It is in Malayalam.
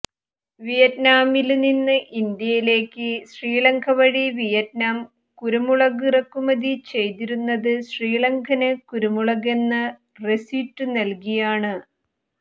വിയറ്റ്നാമില് നിന്നും ഇന്ത്യയിലേക്ക് ശ്രീലങ്ക വഴി വിയറ്റ്നാം കുരുമുളക് ഇറക്കുമതി ചെയ്തിരുന്നത് ശ്രീലങ്കന് കുരുമുളകെന്ന റെസിറ്റ് നല്കിയാണ്